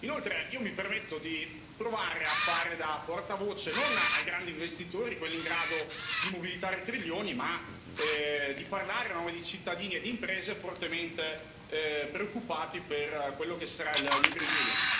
Inoltre, io mi permetto di provare a fare da portavoce non dei grandi investitori, quelli in grado di mobilitare trilioni, ma di parlare a nome di cittadini e di imprese fortemente preoccupati per quello che sarà il New Green Deal.